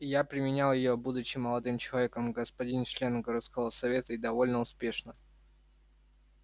я применял её будучи молодым человеком господин членом городского совета и довольно успешно